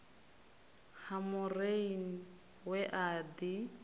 ha maureen we a ḓi